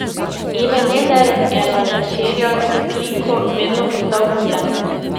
Ebenezer je na večerjah s kliko vedno postal bučen.